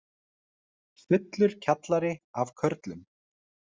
Fullur kjallari af körlum